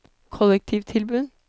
kollektivtilbud